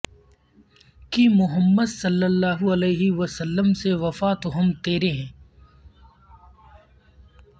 کی محمد ص ع و س سے وفا تو ہم تیرے ہیں